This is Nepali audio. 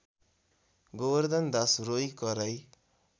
गोबर्धनदास रोइकराइ